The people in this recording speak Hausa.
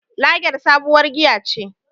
Lager sabuwar giya ce.